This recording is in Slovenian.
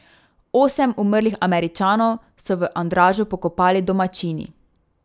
Osem umrlih Američanov so v Andražu pokopali domačini.